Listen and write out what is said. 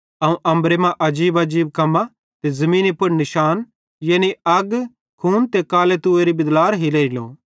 अवं अम्बरे मां आजीबआजीब कम्मां ते ज़मीनी पुड़ निशान यानी अग खून ते कालो तूएरी बिदलार हिरेयेलो